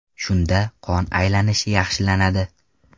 Shunda qon aylanishi yaxshilanadi.